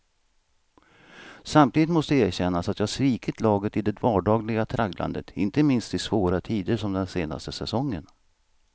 Samtidigt måste erkännas att jag svikit laget i det vardagliga tragglandet, inte minst i svåra tider som den senaste säsongen.